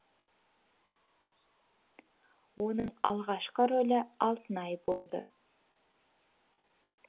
оның алғашқы рөлі алтынай болды